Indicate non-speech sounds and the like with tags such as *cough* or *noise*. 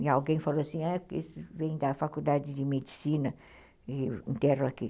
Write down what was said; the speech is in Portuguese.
E alguém falou assim, *unintelligible* vem da faculdade de medicina e enterra aqui.